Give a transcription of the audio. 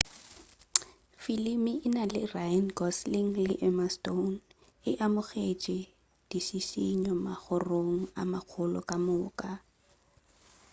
filimi e na le ryan gosling le emma stone e amogetši dišišinyo magorong a magolo ka moka